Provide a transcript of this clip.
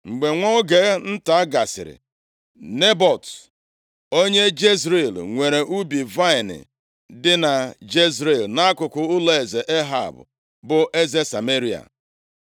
Mgbe nwa oge nta gasịrị, Nebọt, onye Jezril, nwere ubi vaịnị dị na Jezril, nʼakụkụ ụlọeze Ehab bụ eze Sameria. + 21:1 Sameria bụ isi obodo alaeze ugwu ugwu, ya mere ọ na-anọchite anya alaeze ahụ nʼebe a. \+xt 1Ez 16:24\+xt*